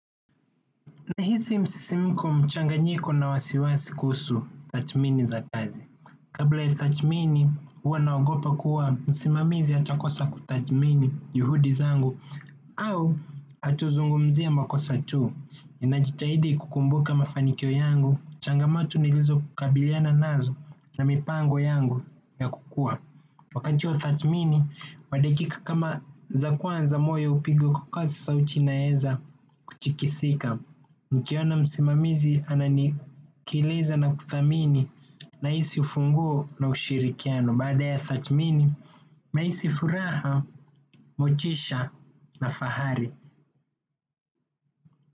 Nahisi msisimko mchanganyiko na wasiwasi kuhusu tathmini za kazi. Kabla ya tathmini, huwa naogopa kuwa msimamizi atakosa kutathmini juhudi zangu au hatuzungumzie makosa tu. Nina jitahidi kukumbuka mafanikio yangu, changamoto nilizo kabiliana nazo na mipango yangu ya kukua. Wakati wa tathmini, madakika kama za kwanza moyo upiga kwa kasi sauti inaeza kuchikisika. Nikiona msimamizi ananisikiliza na kuthamini na hisi ufunguo na ushirikiano. Baada ya tathmini, nahisi furaha, motisha na fahari.